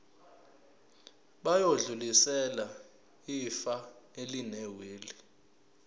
bayodlulisela ifa elinewili